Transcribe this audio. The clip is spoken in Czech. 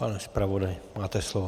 Pane zpravodaji, máte slovo.